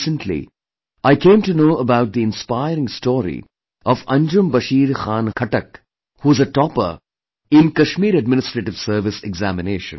Recently, I came to know about the inspiring story of Anjum Bashir Khan Khattak who is a topper in Kashmir Administrative Service Examination